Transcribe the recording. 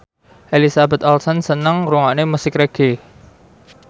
Elizabeth Olsen seneng ngrungokne musik reggae